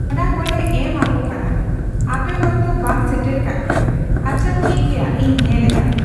ᱚᱱᱟ ᱠᱚᱞᱮ ᱮᱢ ᱟᱠᱚ ᱠᱟᱱᱟ ᱾ᱟᱯᱮ ᱦᱚᱭᱛᱚ ᱵᱟᱝ ᱥᱮᱴᱮᱨ ᱠᱟᱫ ᱯᱮᱭᱟ ᱟᱪᱪᱷᱟ ᱴᱷᱤᱠ ᱜᱮᱭᱟ ᱤᱧ ᱧᱮᱞ ᱫᱟ ᱾